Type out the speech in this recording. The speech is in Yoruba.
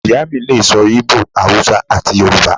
Iya mi lè so̩ íbò, Awúsá ati Yoruba